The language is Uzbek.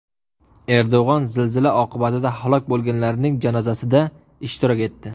Erdo‘g‘on zilzila oqibatida halok bo‘lganlarning janozasida ishtirok etdi.